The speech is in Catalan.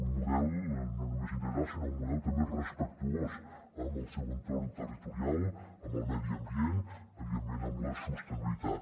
un model no només integral sinó un model també respectuós amb el seu entorn territorial amb el medi ambient evidentment amb la sostenibilitat